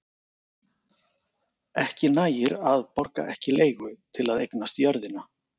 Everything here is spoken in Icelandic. ekki nægir að „borga ekki leigu“ til að eignast jörðina